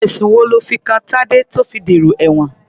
Ẹ̀sùn wo lọ́ fi kan Tadé tó fi dèrò ẹ̀wọ̀n?